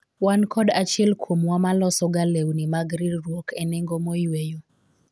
wan kod achiel kuomwa ma loso ga lewni mag riwruok e nengo moyweyo